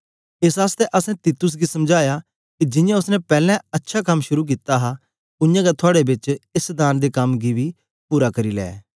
एस आसतै असैं तीतुस गी समझाया के जियां ओसने पैलैं अच्छा कम शुरू कित्ता हा उयांगै थुआड़े बेच एस दान दे कम गी पूरा बी करी लै